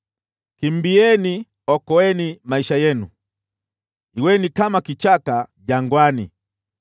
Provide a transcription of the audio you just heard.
Kimbieni! Okoeni maisha yenu, kuweni kama kichaka jangwani.